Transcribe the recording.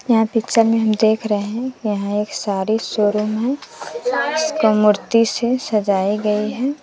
यहां पिक्चर में हम देख रहे हैं यहां एक सारी सोरूम है जिसको मूर्ति से सजाई गई है।